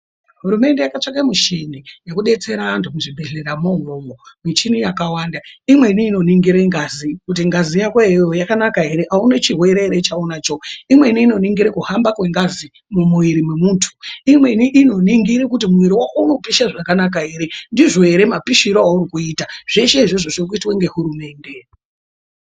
Hurumende yakatsvaka mushini wekudetsera anhu muzvibhedhleya umomo muchini yakawanda, imweni inoningira ngazi kuti ngazi yako iwewe yakanaka ere, kuti auna chirwere ere chaunacho, imweni inoningira kuhamba kwengazi mumwiri mwemundu, imweni inoningira kuti mwiri wako unopisha zvakanaka ere, ndizvo ere mapishiro auri kuita, zveshe izvozvo zviri kuita nehurumende.